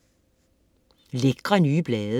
Lækre, nye blade